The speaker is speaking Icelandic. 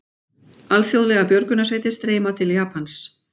Alþjóðlegar björgunarsveitir streyma til Japans